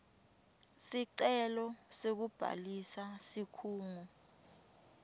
sicelo sekubhalisa sikhungo